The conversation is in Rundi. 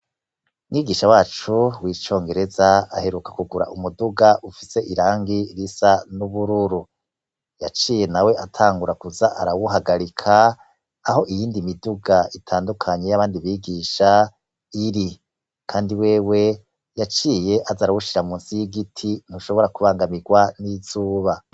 Mwigisha wacu w'icongereza aheruka kugura umuduga ufise irangi risa n'ubururu, yaciye nawe atangura kuza arawuhagarika aho iyindi miduga itandukanye y'abandi bigisha iri kandi wewe yaciye aza arawushira munsi y'igiti ntushobora kubangamirwa n'izuba.